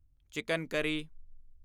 chicken ਕਰੀ